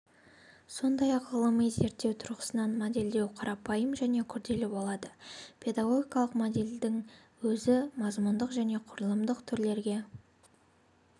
сондай-ақ ғылыми зерттеу тұрғысынан модельдеу қарапайым және күрделі болады педагогикалық модельдердің өзі мазмұндық және құрылымдық түрлерге